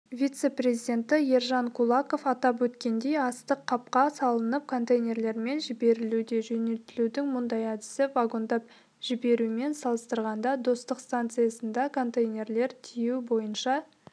вице-президенті ержан кулаков атап өткендей астық қапқа салынып контейнерлермен жіберілуде жөнелтілудің мұндай әдісі вагондап жіберумен салыстырғанда достық стансысында контейнерлерді тиеу бойынша